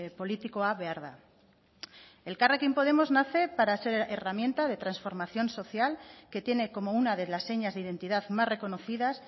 politikoa behar da elkarrekin podemos nace para ser herramienta de transformación social que tiene como una de las señas de identidad más reconocidas